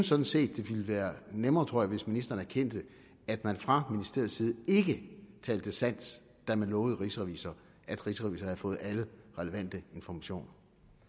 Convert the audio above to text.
sådan set at det ville være nemmere hvis ministeren erkendte at man fra ministeriets side ikke talte sandt da man lovede rigsrevisor at rigsrevisor havde fået alle relevante informationer